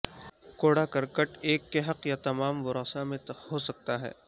کوڑاکرٹ ایک کے حق یا تمام ورثاء میں ہو سکتا ہے